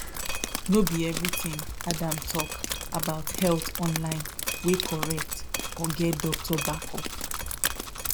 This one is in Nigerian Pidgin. no be everything adam talk about health online wey correct or get doctor backup